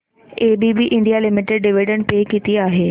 ABB India limited dividend pay किती आहे